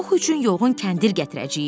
Pux üçün yoğun kəndir gətirəcəyik.